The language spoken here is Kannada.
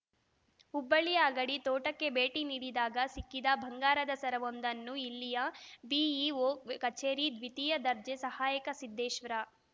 ಹುಬ್ಬಳ್ಳಿಯ ಅಗಡಿ ತೋಟಕ್ಕೆ ಭೇಟಿ ನೀಡಿದಾಗ ಸಿಕ್ಕಿದ ಬಂಗಾರದ ಸರವೊಂದನ್ನು ಇಲ್ಲಿನ ಬಿಇಒ ಕಚೇರಿ ದ್ವಿತೀಯ ದರ್ಜೆ ಸಹಾಯಕ ಸಿದ್ದೇಶ್ವರ